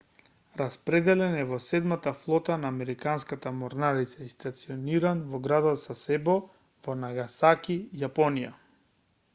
распределен е во седмата флота на американската морнарица и стациониран во градот сасебо во нагасаки јапонија